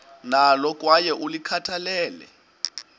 nalo kwaye ulikhathalele